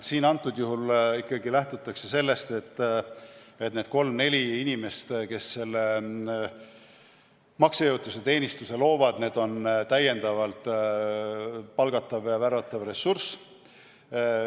Siin lähtutakse praegusel juhul ikkagi sellest, et need kolm-neli inimest, kes selle maksejõuetuse teenistuse loovad, on lisaks palgatav ja värvatav ressurss.